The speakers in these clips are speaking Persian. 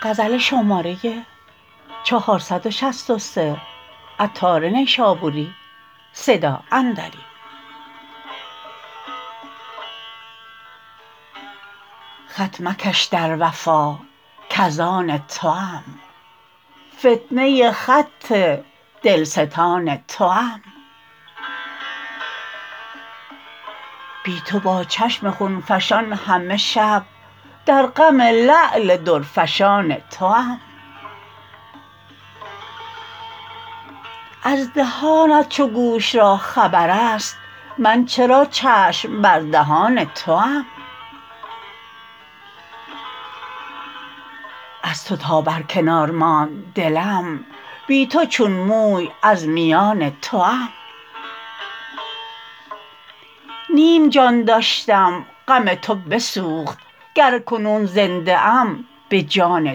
خط مکش در وفا کزآن توام فتنه خط دلستان توام بی تو با چشم خون فشان همه شب در غم لعل درفشان توام از دهانت چو گوش را خبر است من چرا چشم بر دهان توام از تو تا برکنار ماند دلم بی تو چون موی از میان توام نیم جان داشتم غم تو بسوخت گر کنون زنده ام به جان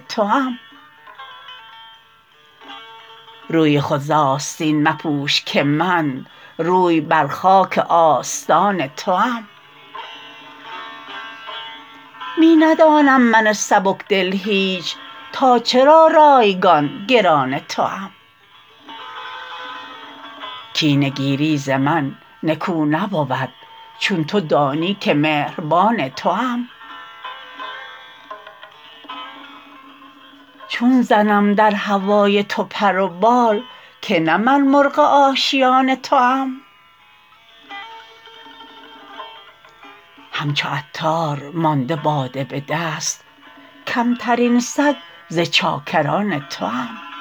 توام روی خود ز آستین مپوش که من روی بر خاک آستان توام می ندانم من سبکدل هیچ تا چرا رایگان گران توام کینه گیری ز من نکو نبود چون تو دانی که مهربان توام چون زنم در هوای تو پر و بال که نه من مرغ آشیان توام همچو عطار مانده باده به دست کمترین سگ ز چاکران توام